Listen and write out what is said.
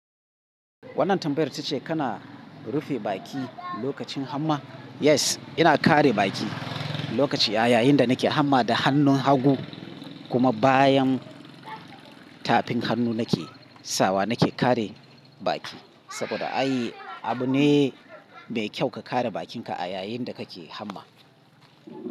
Wannan tambayar tace kana rufe baki lokacin hamma? Yes, ina kare baki lokaci a yayin da nake hamma da hannun hagu, kuma bayan tafin hannu nake sawa nake kare baki. Saboda ai abu ne mai kyau ka kare bakinka a yayin da kake hamma.